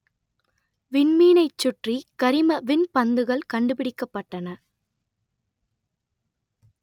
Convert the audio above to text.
விண்மீனைச் சுற்றி கரிம விண்பந்துகள் கண்டுபிடிக்கப்பட்டன